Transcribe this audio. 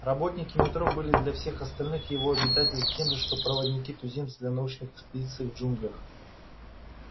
работники метро были для всех остальных его обитателей тем же что проводники-туземцы для научных экспедиций в джунглях